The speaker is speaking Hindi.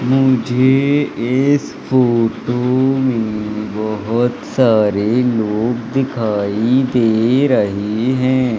मुझे इस फोटो में बहुत सारे लोग दिखाई दे रही हैं।